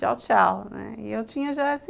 Tchau, tchau, né. E eu tinha já